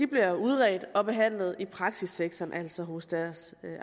bliver udredt og behandlet i praksissektoren altså hos deres